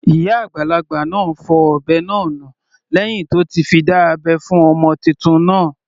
Ìyá àgbàlagbà náà fọ ọ̀bẹ náà nù lẹ́hìn tí ó ti fi dá abẹ́ fún ọmọ titun náà.